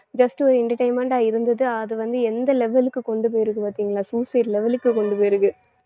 just ஒரு entertainment ஆ இருந்தது அது வந்து எந்த level க்கு கொண்டு போயிருக்கு பாத்தீங்களா suicide level க்கு கொண்டு போயிருக்கு